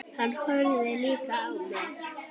Hann horfði líka á mig.